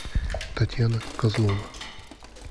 татьяна козлова